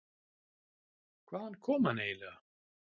Hvaðan kom hann eiginlega?